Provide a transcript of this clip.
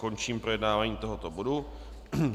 Končím projednávání tohoto bodu.